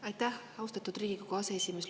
Aitäh, austatud Riigikogu aseesimees!